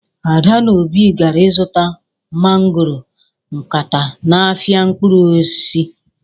Ada na obi gara izuta mangoro nkata n'ahịa mkpụrụ osisi.